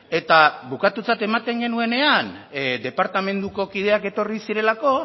eta bukatutzat ematen genuenean departamenduko kideak etorri zirelako